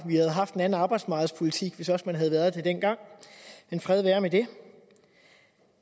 vi havde haft en anden arbejdsmarkedspolitik hvis man også havde været det dengang men fred være med det